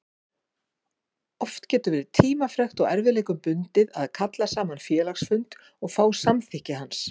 Oft getur verið tímafrekt og erfiðleikum bundið að kalla saman félagsfund og fá samþykki hans.